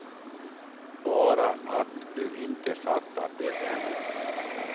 Bara att du inte fattat det ännu.